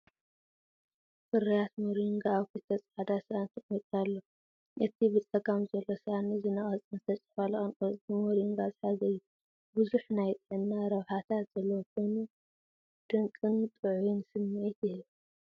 ፍርያት ሞሪንጋ ኣብ ክልተ ጻዕዳ ሳእኒ ተቐሚጡ ኣሎ። እቲ ብጸጋም ዘሎ ሳእኒ ዝነቐጸን ዝተጨፍለቐን ቆጽሊ ሞሪንጋ ዝሓዘ እዩ። ብዙሕ ናይ ጥዕና ረብሓታት ዘለዎ ኮይኑ ድንቅን ጥዑይን ስምዒት ይህብ።